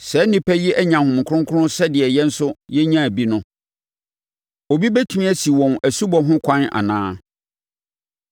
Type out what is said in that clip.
“Saa nnipa yi anya Honhom Kronkron sɛdeɛ yɛn nso yɛnyaa bi no. Obi bɛtumi asi wɔn asubɔ ho ɛkwan anaa?”